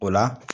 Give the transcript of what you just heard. O la